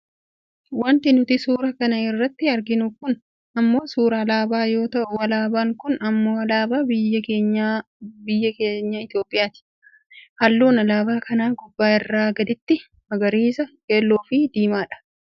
wanti nuti suuraa kana irratti arginu kun ammoo suuraa alaabaa yoo ta'u alaabaan kun ammoo alaabaa biyya keenya biyya Itoophiyaati. halluun alaabaa kanaa gubbaa gara gadiitti, magariisa, keelloofi diimaa dha.